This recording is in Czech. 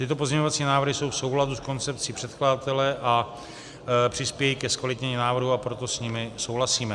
Tyto pozměňovací návrhy jsou v souladu s koncepcí předkladatele a přispějí ke zkvalitnění návrhu, a proto s nimi souhlasíme.